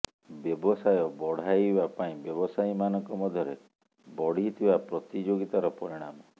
ବ୍ୟବସାୟ ବଢାଇବା ପାଇଁ ବ୍ୟବସାୟୀ ମାନଙ୍କ ମଧ୍ୟରେ ବଢିଥିବା ପ୍ରତିଯୋଗିତାର ପରିଣାମ